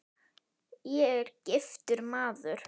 Ég er: giftur maður.